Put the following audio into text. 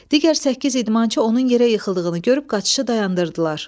Digər səkkiz idmançı onun yerə yıxıldığını görüb qaçışı dayandırdılar.